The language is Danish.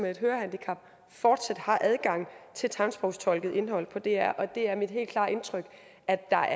med et hørehandicap fortsat har adgang til tegnsprogstolket indhold på dr og det er mit helt klare indtryk at der